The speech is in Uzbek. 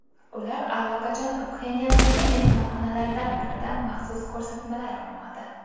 Ular allaqachon Pxenyandagi mehmonxonalardan birida maxsus ko‘rsatmalar olmoqda.